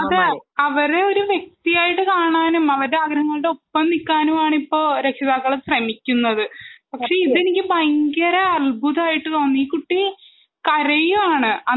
അതെ അവരെ ഒരു വ്യക്തി ആയിട്ടു കാണാനും അവരുടെ ആഗ്രഹങ്ങളുടെ ഒപ്പം നിൽക്കാനും ആണ് ഇപ്പോൾ രക്ഷിതാക്കൾ ശ്രമിക്കുന്നത് . പക്ഷെ ഇതെനിക്ക് ഭയങ്കര അത്ഭുതമായിട്ടു തോന്നി ഈ കുട്ടി കരയാണ്